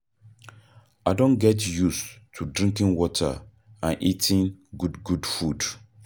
I don get used to drinking water and eating good good food.